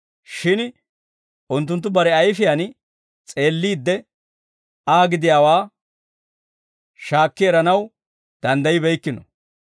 Shin unttunttu bare ayfiyaan s'eelliidde Aa gidiyaawaa shaakki eranaw danddaybbeykkino.